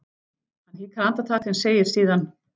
Hann hikar andartak en segir síðan: